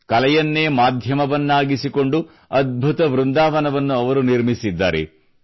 ಕಲೆಯನ್ನೇ ಮಾಧ್ಯಮವನ್ನಾಗಿಸಿಕೊಂಡು ಅಧ್ಬುತ ವೃಂದಾವನವನ್ನು ಅವರು ನಿರ್ಮಿಸಿದ್ದಾರೆ